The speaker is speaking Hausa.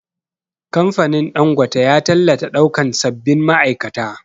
Kamfanin Ɗangote ya tallata ɗaukan sabbin ma'aikata